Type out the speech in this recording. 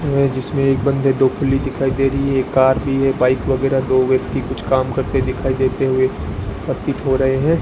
ये जिसमें एक बंदे ढोकली दिखाई दे रही है एक कार भी है बाइक वगैरह दो व्यक्ति कुछ काम करते दिखाई देते हुए प्रतीत हो रहे हैं।